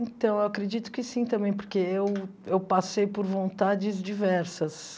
Então, eu acredito que sim também, porque eu eu passei por vontades diversas.